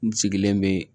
N sigilen bɛ